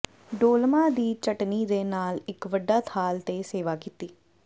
dolma ਦੀ ਚਟਣੀ ਦੇ ਨਾਲ ਇੱਕ ਵੱਡਾ ਥਾਲ ਤੇ ਸੇਵਾ ਕੀਤੀ